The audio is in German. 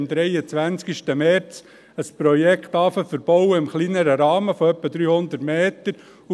Sie wollen am 23. März anfangen, ein Projekt im kleineren Rahmen von etwa 300 Metern zu verbauen.